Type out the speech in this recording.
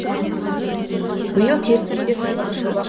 биыл теріскейде тағы бір жоба